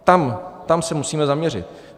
Tam se musíme zaměřit.